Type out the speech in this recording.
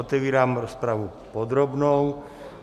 Otevírám rozpravu podrobnou.